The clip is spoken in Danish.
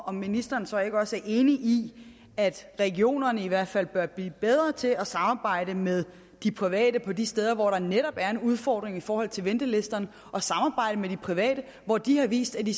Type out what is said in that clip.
om ministeren så ikke også er enig i at regionerne i hvert fald bør blive bedre til at samarbejde med de private på de steder hvor der netop er en udfordring i forhold til ventelisterne og samarbejde med de private hvor de har vist at de